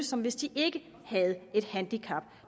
som hvis de ikke havde et handicap